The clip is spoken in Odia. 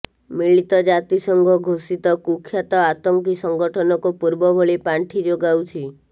ମିଳିତ ଜାତିସଂଘ ଘୋଷିତ କୁଖ୍ୟାତ ଆତଙ୍କୀ ସଂଗଠନକୁ ପୂର୍ବଭଳି ପାଣ୍ଠି ଯୋଗାଉଛି